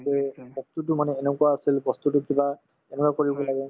to বস্তুতো মানে এনেকুৱা তুমি বস্তুতো কিবা এনেকুৱা কৰিব লাগে